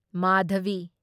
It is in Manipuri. ꯃꯥꯙꯚꯤ